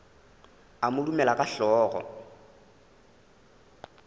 a mo dumela ka hlogo